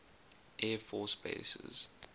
air force bases